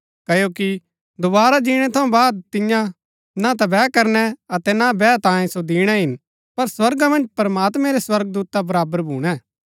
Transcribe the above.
क्ओकि दोवारा जीणै थऊँ बाद तियां ना ता बैह करनै अतै ना बैहा तांयें सो दिणै हिन पर स्वर्गा मन्ज प्रमात्मैं रै स्वर्गदूता बराबर भूणै